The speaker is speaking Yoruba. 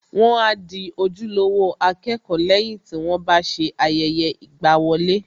Wọ́n a di ojúlówó akẹ́kọ̀ọ́ lẹ́yìn tí wọ́n bá ṣe ayẹyẹ ìgbàwọlé